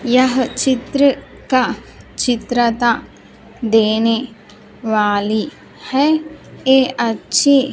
यह चित्र का चित्रता देने वाली हैं ये अच्छी --